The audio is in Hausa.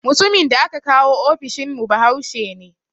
Mutumin da aka kawo ofishin mu bahaushe ne